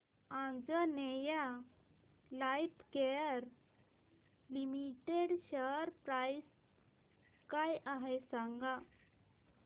Anjaneya lifecare limited share price काय आहे सांगा